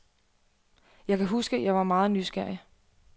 Jeg kan huske, at jeg var meget nysgerrig.